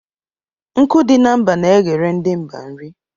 Nkụ dị na mba n'eghere ndi mba nri